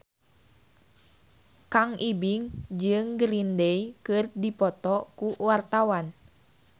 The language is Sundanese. Kang Ibing jeung Green Day keur dipoto ku wartawan